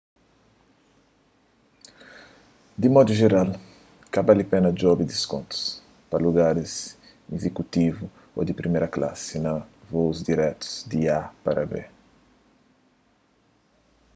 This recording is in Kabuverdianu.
di un modu jeral ka bali pena djobe diskontus pa lugaris izikutivu ô di priméra klasi na vous diretus di a pa b